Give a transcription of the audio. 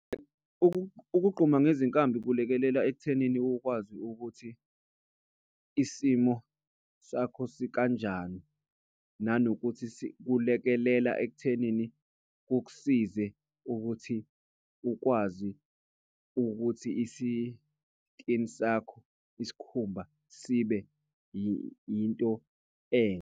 Ukugquma ngezinkambi kulekelela ekuthenini ukwazi ukuthi isimo sakho sikanjani, nanokuthi kulekelela ekuthenini kukusize ukuthi ukwazi ukuthi isikini sakho, isikhumba sibe yinto .